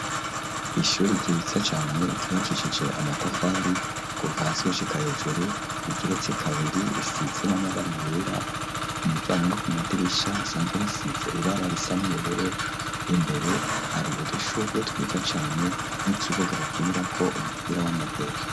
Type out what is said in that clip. Ishuri ryiza cane ryubakishije amatafari kuva hasi gushika hejuru ,rigeretse kabiri risize n'amabara yera, ku miryango no ku madirisha hasanzwe hasize ibara risa n,ubururu, imbere hari udushugwe twiza cane n'ikibuga bakinirako umupira w'amaguru.